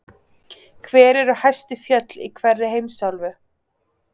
Hver eru hæstu fjöll í hverri heimsálfu?